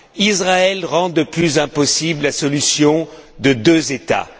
Israël rend de plus en plus impossible la solution à deux États.